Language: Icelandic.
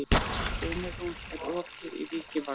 Steinrún, er opið í Vikivaka?